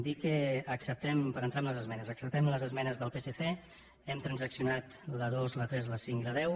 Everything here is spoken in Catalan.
dir que acceptem per entrar en les esmenes acceptem les esmenes del psc hem transaccionat la dos la tres la cinc i la deu